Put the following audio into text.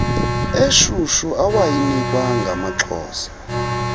eshushu awayinikwa ngamaxhosa